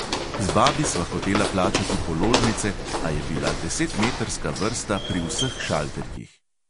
Z babi sva hotela plačati položnice, a je bila desetmetrska vrsta pri vseh šalterjih!